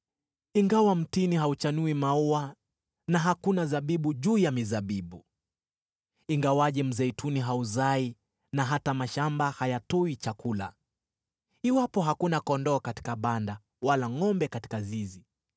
Ingawa mtini hauchanui maua na hakuna zabibu juu ya mizabibu, ingawaje mzeituni hauzai, na hata mashamba hayatoi chakula, iwapo hakuna kondoo katika banda, wala ngʼombe katika zizi,